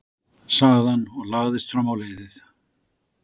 sagði hann og lagðist fram á leiðið.